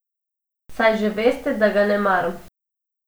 Saj že veste, da ga ne maram.